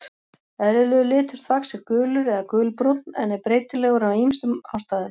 Eðlilegur litur þvags er gulur eða gulbrúnn en er breytilegur af ýmsum ástæðum.